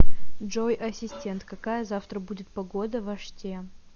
джой ассистент какая завтра будет погода в оште